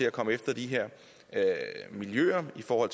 at komme efter de her miljøer for